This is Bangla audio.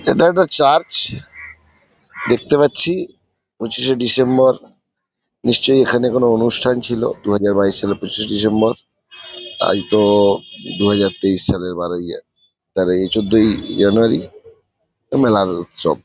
এটা একটা একটা চার্চ দেখতে পাচ্ছি। পঁচিশে ডিসেম্বর নিশ্চয়ই এখানে কোনো অনুষ্ঠান ছিল দুহাজার বাইশ সালের পঁচিশে ডিসেম্বর । আজ তো-ও দুহাজার তেইশ সালের বারোই তেরোই চোদ্দই জানুয়ারি এ মেলার উৎসব।